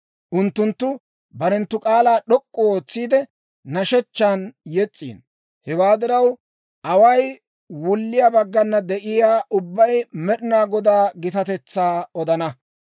Unttunttu barenttu k'aalaa d'ok'k'u ootsiide, nashshechchan yes's'iino; away wulliyaa baggana de'iyaa ubbay Med'inaa Godaa gitatetsaa odana.